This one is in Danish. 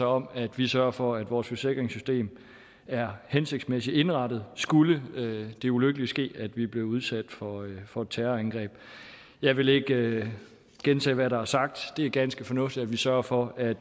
om at vi sørger for at vores forsikringssystem er hensigtsmæssigt indrettet skulle det ulykkelige ske at vi blev udsat for for et terrorangreb jeg vil ikke gentage hvad der er sagt det er ganske fornuftigt at vi sørger for at